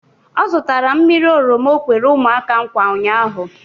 Ọ zụtara mmiri oroma o kwere ụmụaka nkwa ụnyaahụ